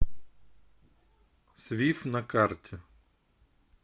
свиф на карте